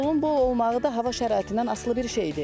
Məhsulun bol olmağı da hava şəraitindən asılı bir şeydir.